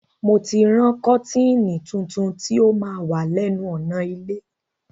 Mo ti ń rán kọ́tìnì tuntun ti ó ma wà lẹ́nu ọ̀nà ilé